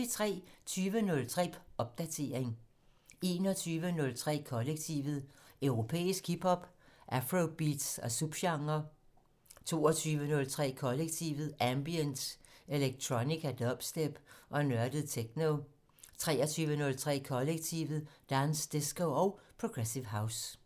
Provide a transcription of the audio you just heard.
20:03: Popdatering 21:03: Kollektivet: Europæisk hip hop, afrobeats og subgenrer 22:03: Kollektivet: Ambient, electronica, dubstep og nørdet techno 23:03: Kollektivet: Dance, disco og progressive house